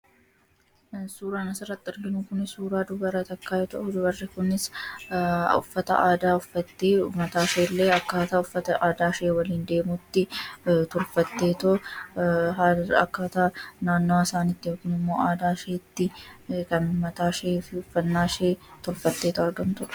Suuraan as irratti arginuu suuraa dubara takka yoo ta'u, dubarii kunis uffataa aadaa ufatee mataa ishee illee akka uffataa aadaaf ta'uutti tolfatetoo akkataa naannoowwa isaanitti yookaan ammoo aadaa ishetti kan mataa isheefi ufanaa ishee tolfamtetoo argaamtuudha.